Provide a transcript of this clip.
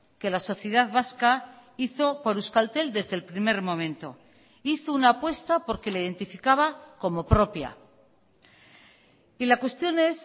que la sociedad vasca hizo por euskaltel desde el primer momento hizo una apuesta porque le identificaba como propia y la cuestión es